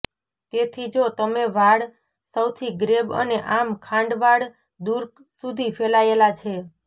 તેથી જો તમે વાળ સૌથી ગ્રેબ અને આમ ખાંડ વાળ દૂર સુધી ફેલાયેલા છે